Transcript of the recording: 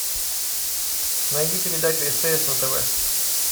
найди передачу стс на тв